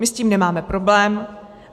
My s tím nemáme problém.